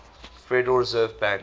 federal reserve banks